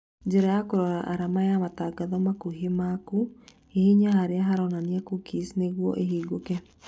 Njĩra ya kũrora arama ya matangatho makuhĩ maku hihinya harĩa haronania cookies nĩguo ĩhingũke